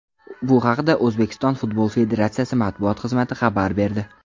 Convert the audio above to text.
Bu haqda O‘zbekiston futbol federatsiyasi matbuot xizmati xabar berdi .